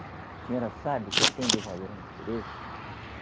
A senhora sabe o que tem de valor a natureza?